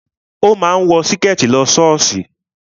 O máa ń wọ Síkẹ̀tí lọ ṣọ́ọ̀ṣì